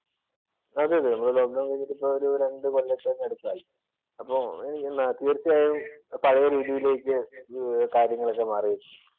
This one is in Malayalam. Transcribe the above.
അതെ അതെ നമ്മുട ലോക്ക് ഡൌണ്‍ കഴിഞ്ഞിട്ട് ഇപ്പൊ രണ്ടു കൊല്ലത്തിനു അപ്പുറമായി. അപ്പൊ തീര്‍ച്ചയായും പഴയ രീതിയിലേക്ക് കാര്യങ്ങള് ഒക്കെ മാറിയിരിക്കും.